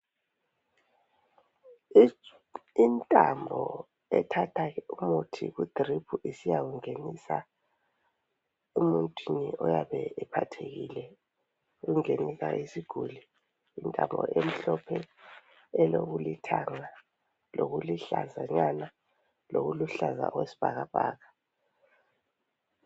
Intambo ethatha umuthi kudrip isiyawungenisa emuntwini oyabe ephathekile ungenisa kusiguli yintambo emhlophe elokulithanga lokuluhlazanyana lokuluhlaza okwesibhakabhaka.